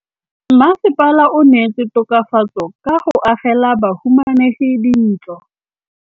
Mmasepala o neetse tokafatsô ka go agela bahumanegi dintlo.